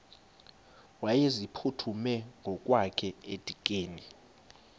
wayeziphuthume ngokwakhe edikeni